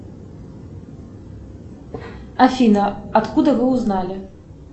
афина откуда вы узнали